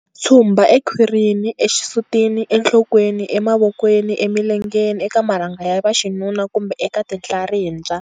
Tshumba ekhwirini, exisutini, enhlokweni, emavokweni, emilengeni, eka marhanga ya vaxinuna kumbe eka tinhlarimbya.